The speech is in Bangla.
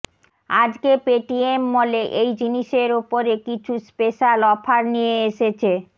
আজকে পেটিএমমলে এই জিনিসের ওপরে কিছু স্পেশাল অফার নিয়ে এসেছে